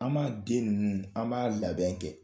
An b'a den ninnu, an b'a labɛn kɛ.